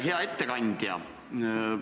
Hea ettekandja!